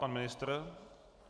Pan ministr?